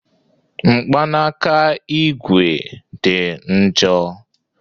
Mkpanaka ígwè dị njọ